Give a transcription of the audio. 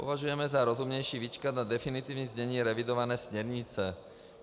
Považujeme za rozumnější vyčkat na definitivní znění revidované směrnice.